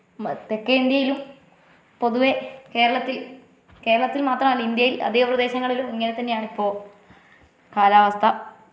മ തെക്കേ ഇന്ത്യയിലും പൊതുവെ കേരളത്തിൽ കേരളത്തിൽ മാത്രമല്ല ഇന്ത്യയിൽ അധിക പ്രദേശങ്ങളിലും ഇങ്ങനെ തന്നെ ആണിപ്പോ കാലാവസ്ഥ